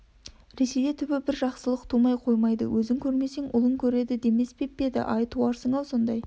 ресейде түбі бір жақсылық тумай қоймайды өзің көрмесең ұлың көреді деспеп пе еді ай туарсың-ау сондай